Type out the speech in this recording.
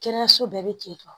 Kɛnɛyaso bɛɛ bɛ ten tɔ